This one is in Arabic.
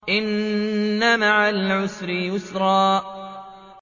إِنَّ مَعَ الْعُسْرِ يُسْرًا